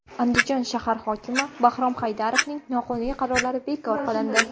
Andijon shahar hokimi Bahrom Haydarovning noqonuniy qarorlari bekor qilindi.